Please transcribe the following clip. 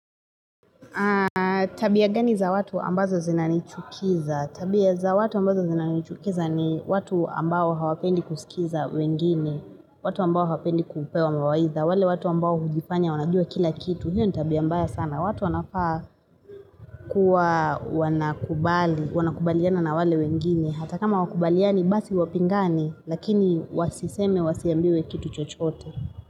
Tabia gani za watu ambazo zinanichukiza tabia za watu ambazo zina nichukiza ni watu ambao hawapendi kusikiza wengine watu ambao hawapendi kupewa mwawaidha wale watu ambao hujifanya wanajua kila kitu hiyo ni tabia mbaya sana watu wanafaa kuwa wanakubali Wanakubaliana na wale wengine Hata kama hawakubaliani basi wapingane Lakini wasiseme wasiambiwe kitu chochote.